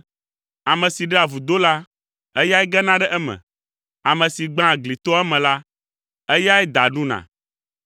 Ame si ɖea vudo la, eyae gena ɖe eme. Ame si gbãa gli toa eme la, eyae da ɖuna.